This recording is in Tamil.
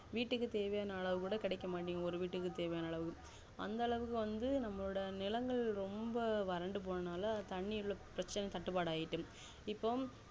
வீட்டுக்கு தேவையான அளவு கூட கெடைக்க மாட்டிக்குது ஒரு வீட்டுக்கு தேவையான அளவு அந்த அளவுக்கு வந்து நம்மளோட நிலங்கள் ரொம்ப வறண்டு போனதால தண்ணி பிரச்சினைதட்டுப்பாடு ஆய்டு இப்போ